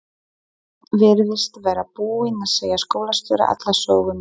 Örn virtist vera búinn að segja skólastjóra alla söguna.